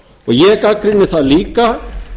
ég gagnrýni það líka